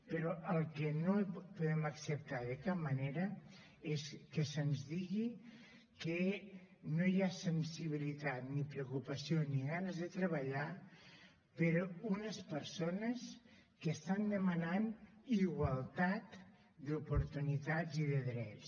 però el que no podem acceptar de cap manera és que se’ns digui que no hi ha sensibilitat ni preocupació ni ganes de treballar per unes persones que estan demanant igualtat d’oportunitats i de drets